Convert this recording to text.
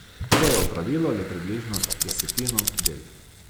To je opravilo le približno desetino del.